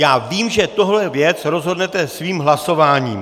Já vím, že tuhle věc rozhodnete svým hlasováním.